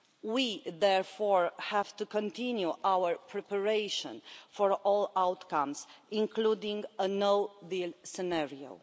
We therefore have to continue our preparation for all outcomes, including a no-deal scenario.